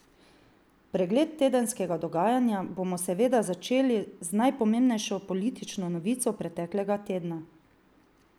Pregled tedenskega dogajanja bomo seveda začeli z najpomembnejšo politično novico preteklega tedna.